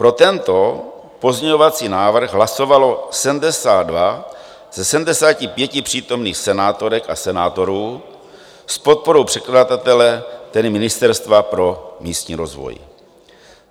Pro tento pozměňovací návrh hlasovalo 72 ze 75 přítomných senátorek a senátorů s podporou předkladatele, tedy Ministerstva pro místní rozvoj.